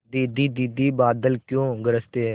दीदी दीदी बादल क्यों गरजते हैं